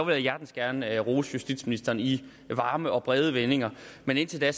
jeg hjertens gerne rose justitsministeren i varme og brede vendinger men indtil da